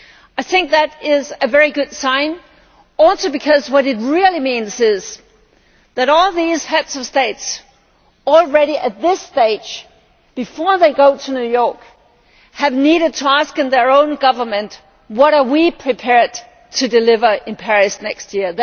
I think that is also a very good sign, because what it really means is that all these Heads of State, already at this stage, before they go to New York, have needed to ask in their own governments what are we prepared to deliver in Paris next year?'